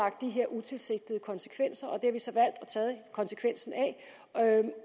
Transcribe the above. af de her utilsigtede konsekvenser og har vi så valgt at tage konsekvensen af